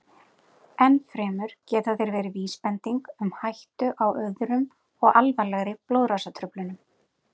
Enn fremur geta þeir verið vísbending um hættu á öðrum og alvarlegri blóðrásartruflunum.